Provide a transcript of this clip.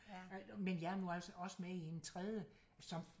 Men jeg er nu altså også med i en tredje som